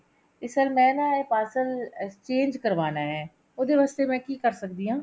ਤੇ sir ਮੈਂ ਨਾ ਇਹ parcel exchange ਕਰਵਾਨਾ ਹੈ ਉਹਦੇ ਵਾਸਤੇ ਮੈਂ ਕਿ ਕਰ ਸਕਦੀ ਹਾਂ